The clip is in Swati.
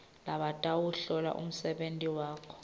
labatawuhlola umsebenti wakho